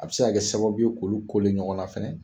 A bɛ se ka kɛ sababu ye k'olu ɲɔgɔn na fɛnɛ.